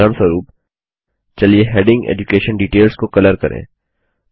उदाहरणस्वरूप चलिए heading education DETAILSको कलर करें